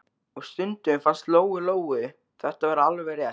Og stundum fannst Lóu-Lóu þetta vera alveg rétt.